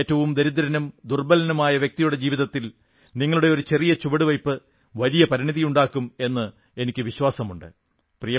ഏറ്റവും ദരിദ്രനും ദുർബ്ബലനുമായ വ്യക്തിയുടെ ജീവിതത്തിൽ നിങ്ങളുടെ ഒരു ചെറിയ ചുവടുവെയ്പ് വലിയ പരിണതിയുണ്ടാക്കും എന്ന് എനിക്കു വിശ്വാസമുണ്ട്